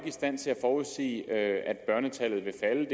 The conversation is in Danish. i stand til at forudsige at børnetallet vil falde